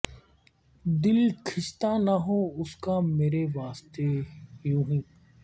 دل کھنچتا نہ ہو اس کا میرے واسطے یونہی